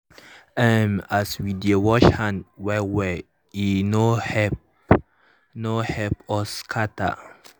mm as we dey wash hand well well e ho help ho help us scatter.